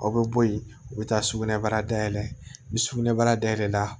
Aw bɛ bɔ yen u bɛ taa sugunɛbara dayɛlɛ ni sugunɛbara dayɛlɛ la